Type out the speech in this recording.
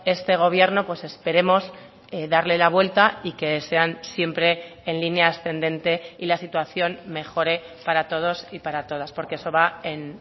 este gobierno pues esperemos darle la vuelta y que sean siempre en línea ascendente y la situación mejore para todos y para todas porque eso va en